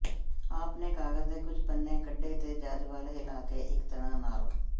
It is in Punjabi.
ਆਪ ਨੇ ਕਾਗਜ਼ ਦੇ ਕੁਝ ਪੰਨੇ ਕੱਢੇ ਤੇ ਜੱਜ ਵੱਲ ਹਿਲਾ ਕੇ ਇੱਕ ਤਰਾਂ ਨਾਲ